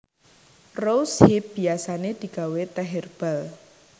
Rose hip biasané digawé tèh hèrbal